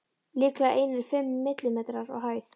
Líklega einir fimm millimetrar á hæð.